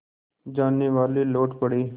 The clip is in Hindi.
जानेवाले लौट पड़े